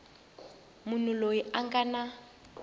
munhu loyi a nga na